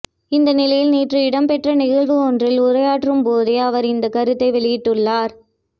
இந்த நிலையில் நேற்று இடம்பெற்ற நிகழ்வு ஒன்றில் உரையாற்றும் போதே அவர் இந்தக் கருத்தை வெளியிட்டுள்ளார்